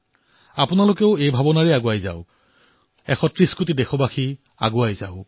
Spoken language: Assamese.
আপোনালোকে এই চিন্তাধাৰাৰ সৈতে আগবাঢ়িব ১৩০ কোটি দেশবাসী আগবাঢ়িব